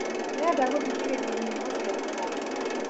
ndĩrenda gũthikĩria nyĩĩmbo cia kĩgooco